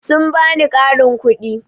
Sun ba ni ƙarin kuɗi.